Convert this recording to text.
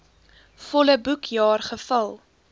volle boekjaar gevul